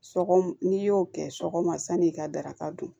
Sɔkɔ n'i y'o kɛ sɔgɔma san'i ka daraka dun